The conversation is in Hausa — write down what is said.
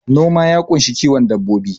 Noma ya ƙunshi kiwon dabbobi